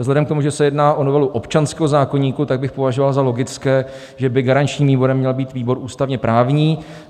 Vzhledem k tomu, že se jedná o novelu občanského zákoníku, tak bych považoval za logické, že by garančním výborem měl být výbor ústavně-právní.